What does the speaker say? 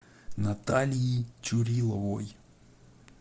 натальи чуриловой